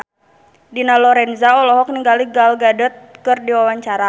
Dina Lorenza olohok ningali Gal Gadot keur diwawancara